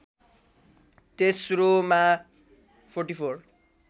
तेस्रोमा ४४